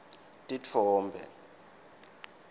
titfombe